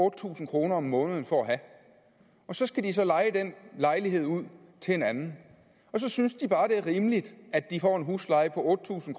tusind kroner om måneden for at have og så skal de så leje den lejlighed ud til en anden og så synes de bare det er rimeligt at de får en husleje på otte tusind